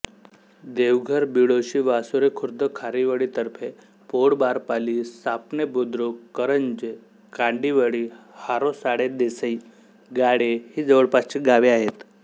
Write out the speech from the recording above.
देवघर बिळोशी वासुरीखुर्द खारीवळीतर्फेपौळबारपाली सापणेबुद्रुक करंजे काडिवळी हारोसाळेदेसई गाळे ही जवळपासची गावे आहेत